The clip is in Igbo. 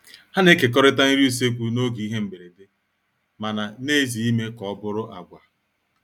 Ha na-ekekọrịta nri nsekwu n'oge ihe mberede mana na-eze ime ka ọ bụrụ àgwà.